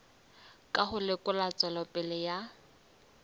ka ho lekola tswelopele ya